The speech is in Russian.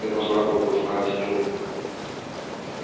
я должна была знать ю